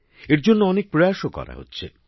এর জন্য অনেক উদ্যোগও নেওয়া হচ্ছে